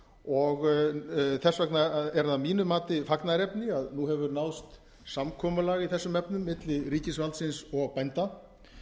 og þess vegna er það að mínu mati fagnaðarefni að nú hefur náðst samkomulag í þessum efnum milli ríkisvaldsins og bænda